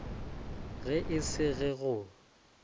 ge e se ge go